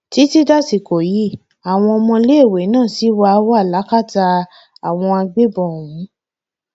títí dàsìkò yìí àwọn ọmọléèwé náà ṣì wà wà lákàtà àwọn agbébọn ọhún